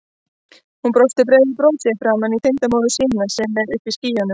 Hún brosir breiðu brosi framan í tengdamóður sína sem er uppi í skýjunum.